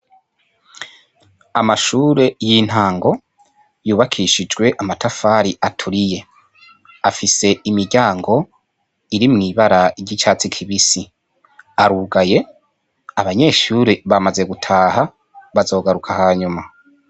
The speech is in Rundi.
Amashure y'intango yubakishijwe amatafari aturiye, afise imiryango iri mw'ibara ry'icatsi kibisi arugaye, abanyeshure bamaze gutaha bazogaruka hanyuma.